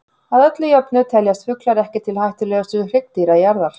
Að öllu jöfnu teljast fuglar ekki til hættulegustu hryggdýra jarðar.